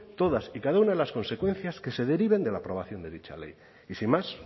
todas y cada una de las consecuencias que se deriven de la aprobación de dicha ley y sin más